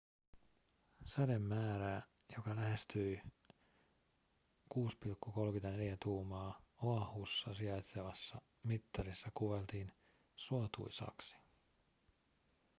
sademäärää joka lähestyi 6,34 tuumaa oahussa sijaitsevassa mittarissa kuvailtiin suotuisaksi